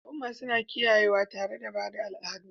Al'umma suna kiyayewa tare da ba da al'adun